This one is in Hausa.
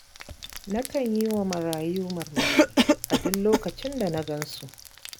Nakan yi wa marayun murmushi duk lokacin da na gan su.